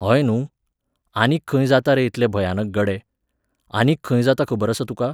हय न्हूं, आनीक खंय जाता रे इतले भयानक गडे! आनीक खंय जाता खबर आसा तुका?